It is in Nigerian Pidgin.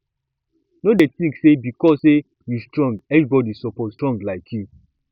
no dey think say because sey you strong everybody suppose strong like you